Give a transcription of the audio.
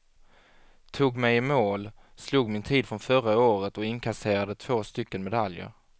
Tog mig i mål, slog min tid från förra året och inkasserade två stycken medaljer.